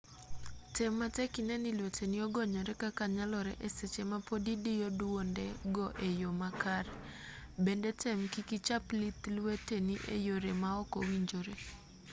tem matek inee ni lweteni ogonyore kaka nyalore e seche ma pod idiyo dwonde go e yo ma kare bende tem kik ichap lith lweteni e yore ma ok owinjore